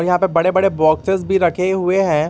यहां पर बड़े बड़े बॉक्सेस भी रखे हुए हैं।